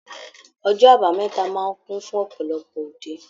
Ọjọ́ àbámẹ́ta máa ń kún fún ọ̀pọ̀lọpọ̀ òde